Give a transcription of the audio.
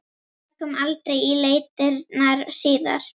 Það kom aldrei í leitirnar síðar.